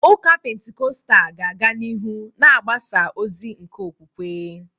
Ụka Pentikọstal ga-aga n’ihu na-agbasa ozi nke okwukwe.